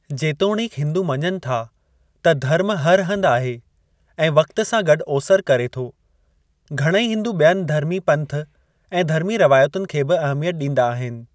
जेतोणीकि हिंदू मञनि था त धर्मु हर हंध आहे ऐं वक़्त सां गॾु ओसरि करे थो, घणईं हिंदू ॿियनि धर्मी पंथ ऐं धर्मी रवायतुनि खे बि अहमियत ॾींदा आहिनि।